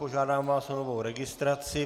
Požádám vás o novou registraci.